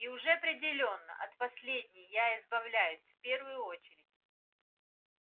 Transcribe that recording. и уже определённо от последней я избавлюсь в первую очередь